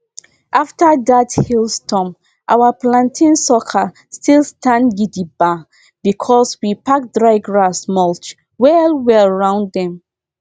after that hailstorm our plantain sucker still stand gidigba because we pack dry grass mulch wellwell round dem